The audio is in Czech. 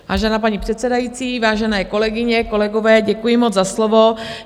Vážená paní předsedající, vážené kolegyně, kolegové, děkuji moc za slovo.